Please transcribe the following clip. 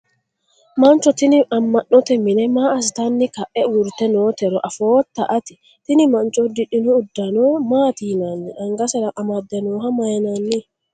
mancho tini amma'note mine maa assitanni ka'e uurrite nootero afootta ati? tini mancho uddidhino uddano maati yinanni? angasera amadde nooha mayiinanni?